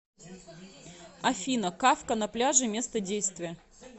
афина кафка на пляже место действия